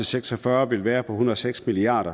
seks og fyrre vil være på en hundrede og seks milliard